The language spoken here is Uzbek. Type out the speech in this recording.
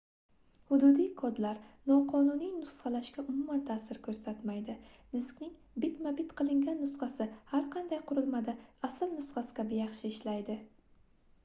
hududiy kodlar noqonuniy nusxalashga umuman taʼsir koʻrsatmaydi diskning bitma-bit qilingan nusxasi har qanday qurilmada asl nusxasi kabi yaxshi ishlaydi